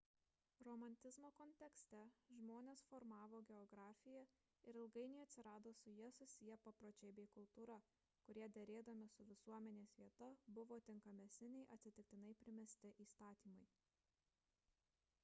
romantizmo kontekste žmones formavo geografija ir ilgainiui atsirado su ja susiję papročiai bei kultūra kurie derėdami su visuomenės vieta buvo tinkamesni nei atsitiktinai primesti įstatymai